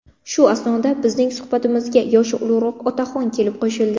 Shu asnoda bizning suhbatimizga yoshi ulug‘roq otaxon kelib qo‘shildi.